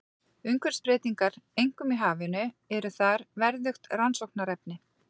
Umhverfisbreytingar, einkum í hafinu, eru þar verðugt rannsóknarefni.